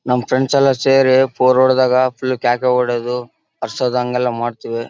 ನಮ್ಮ ಫ್ರೆಂಡ್ಸ್ ಎಲ್ಲಾ ಸೇರಿ ಫೋರ್ ಹೊಡದ್ದಾಗ ಫುಲ್ ಕ್ಯಾಕೆ ಹೊಡೆದು ಮಾಡತ್ತಿವಿ .